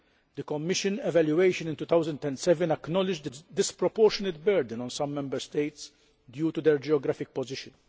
The Commission evaluation in 2007 acknowledged the disproportionate burden on some Member States due to their geographical position.